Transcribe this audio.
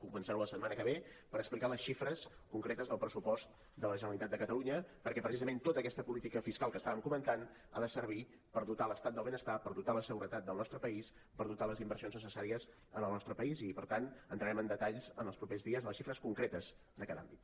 començar la setmana que ve per explicar les xifres concretes del pressupost de la generalitat de catalunya perquè precisament tota aquesta política fiscal que estàvem comentant ha de servir per dotar l’estat del benestar per dotar la seguretat del nostre país per dotar les inversions necessà ries en el nostre país i per tant entrarem en detalls en els propers dies de les xifres concretes de cada àmbit